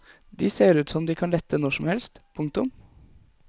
De ser ut som om de kan lette når som helst. punktum